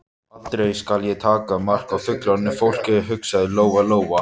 Aldrei skal ég taka mark á fullorðnu fólki, hugsaði Lóa Lóa.